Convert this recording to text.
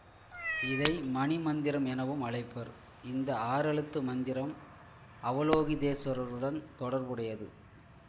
இதை மணி மந்திரம் எனவும் அழைப்பர் இந்த ஆறெழுத்து மந்திரம் அவலோகிதேஷ்வரருடன் தொடர்புடையது